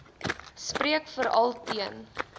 spreek veral teen